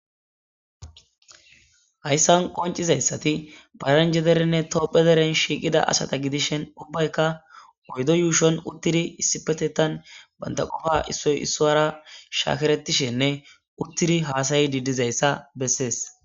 Hayssan qoncizayssati paranjederenne topphederen shiiqida asata gidishen ubbayka oydo yuushon uttiri issipetetan bandaqofa issoy issoara shaakeretishenne uttiri haasayi didizayssa bessees.